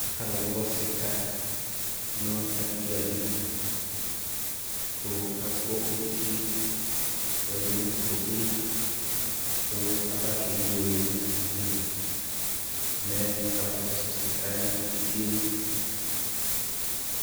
Alʋ gbɔ sika nʋ adidu adidu, kʋ agbɔ eti yɛ dʋ nʋ Kotoka li, kʋ abakewele nʋ ivi li mɛɛ kama fʋsʋ sika yɛ nʋ ivi yɛ eti yɛ li